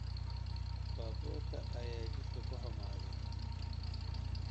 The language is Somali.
Baabuurka ayaa jidka ku xumaaday